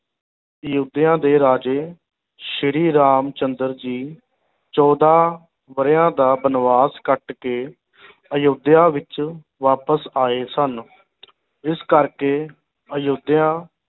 ਅਯੋਧਿਆ ਦੇ ਰਾਜੇ ਸ੍ਰੀ ਰਾਮ ਚੰਦਰ ਜੀ ਚੌਦਾਂ ਵਰਿਆਂ ਦਾ ਬਨਵਾਸ ਕੱਟ ਕੇ ਅਯੋਧਿਆ ਵਿੱਚ ਵਾਪਸ ਆਏ ਸਨ ਇਸ ਕਰਕੇ ਅਯੋਧਿਆ